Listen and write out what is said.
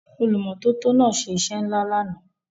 Olùmọ́tótó náà ṣe iṣẹ́ ńlá lánàá.